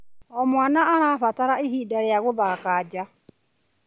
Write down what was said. O mwana arabatara ihinda rĩa gũthaka nja.